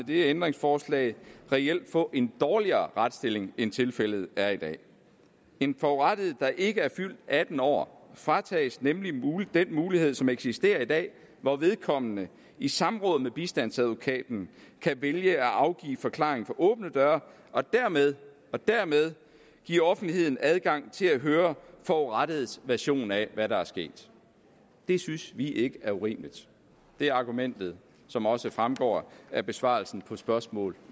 det ændringsforslag reelt få en dårligere retsstilling end tilfældet er i dag en forurettet der ikke er fyldt atten år fratages nemlig den mulighed som eksisterer i dag hvor vedkommende i samråd med bistandsadvokaten kan vælge at afgive forklaring for åbne døre og dermed og dermed give offentligheden adgang til at høre forurettedes version af hvad der er sket det synes vi ikke er urimeligt det er argumentet som også fremgår af besvarelsen på spørgsmål